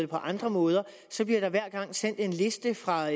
på andre måder så bliver der hver gang sendt en liste fra